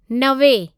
नवे